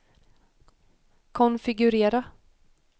konfigurera